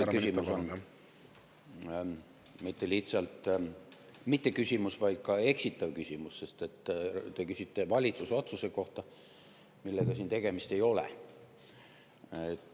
See küsimus on mitte lihtsalt mitteküsimus, vaid ka eksitav küsimus, sest te küsite valitsuse otsuse kohta, millega siin tegemist ei ole.